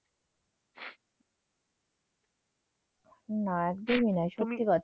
না একদমই নয়, সত্যি কথা।